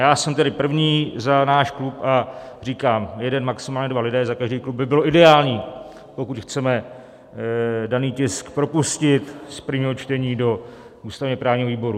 Já jsem tedy první za náš klub a říkám, jeden, maximálně dva lidé za každý klub by bylo ideální, pokud chceme daný tisk propustit z prvního čtení do ústavně-právního výboru.